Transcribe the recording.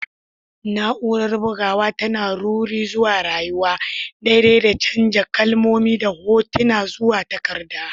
Na'urar bugawa tana ruri zuwa rayuwa, daidai da canja kalmomi da hotuna zuwa takarda.